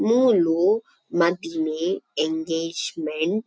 ಮೂಲು ಮದಿಮೆ engagement --